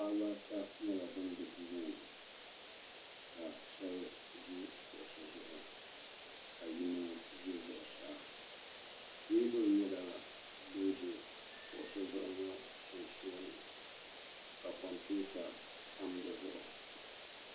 paɣ' baata nyɛla ban bɛ duuŋɔ ni ka shɛbi ʒɛ kuɣisi zuɣ ka yino ʒɛ zuɣ saa tɛbuli nyɛla din ʒɛ kuɣisi ŋɔ sunsuuni ka komipɛwuta tami si zuɣ